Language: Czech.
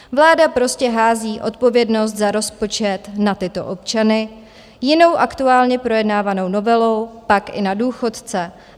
Vláda prostě hází odpovědnost za rozpočet na tyto občany, jinou aktuálně projednávanou novelou, tak i na důchodce.